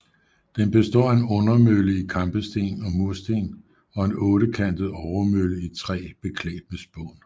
Den består af en undermølle i kampesten og mursten og en ottekantet overmølle i træ beklædt med spån